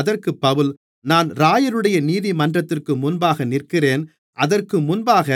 அதற்குப் பவுல் நான் இராயருடைய நீதிமன்றத்திற்கு முன்பாக நிற்கிறேன் அதற்கு முன்பாக